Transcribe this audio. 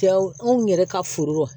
Cɛw anw yɛrɛ ka foro rɔ